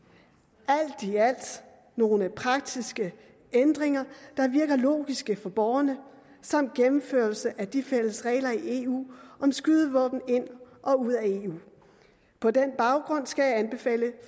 nogle praktiske ændringer der virker logiske for borgerne samt en gennemførelse af de fælles regler i eu om skydevåben ind og ud af eu på den baggrund skal jeg anbefale